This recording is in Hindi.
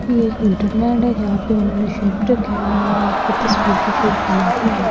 ये एक विंटर लैंड है जहां पे उन्होंने शेर भी रखे हुए हैं और ऊपर तस्वीर पे शेर बना भी हुआ है ।